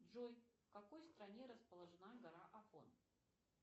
джой в какой стране расположена гора афон